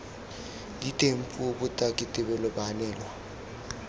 diteng puo botaki tebelo baanelwa